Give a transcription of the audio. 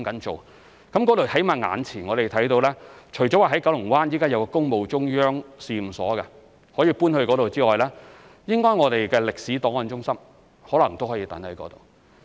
在那裏，我們眼前起碼看到，除了現時位於九龍灣的一個工務中央試驗所可以搬到該處之外，歷史檔案中心應該也可能可以安置在那裏。